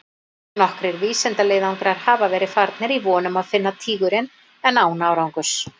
Nokkrir vísindaleiðangrar hafa verið farnir í von um að finna tígurinn en án árangurs.